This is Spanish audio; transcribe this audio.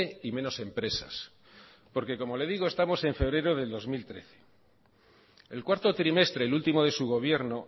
y menos empresas porque como le digo estamos en febrero de dos mil trece el cuarto trimestre el último de su gobierno